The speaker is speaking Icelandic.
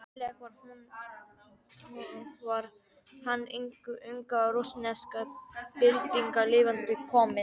Eiginlega var hann hin unga rússneska bylting lifandi komin.